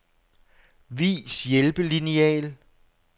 Vis hjælpelineal.